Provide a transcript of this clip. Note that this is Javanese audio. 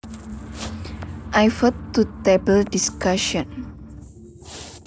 I vote to table discussion